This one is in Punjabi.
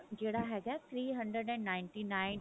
ਜਿਹੜਾ ਹੈਗਾ three hundred and ninety nine